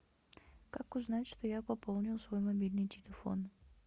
как узнать что я пополнил свой мобильный телефон